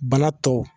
Bana tɔ